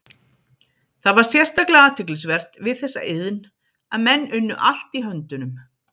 Það var sérstaklega athyglisvert við þessa iðn að menn unnu allt í höndunum.